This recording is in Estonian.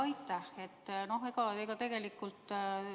Aitäh!